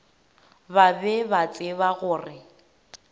ba be ba tseba gore